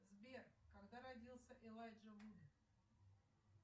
сбер когда родился элайджа вуд